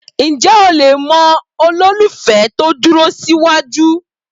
Ǹjẹ́ o le mọ olólùfẹ́ tó dúró síwájú?